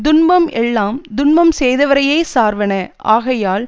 துன்பம் எல்லாம் துன்பம் செய்தவரையேச் சார்வன ஆகையால்